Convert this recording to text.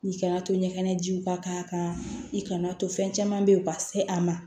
I kana to ɲɛgɛnɛ jiw ka k'a kan i kana to fɛn caman bɛ yen u ka se a ma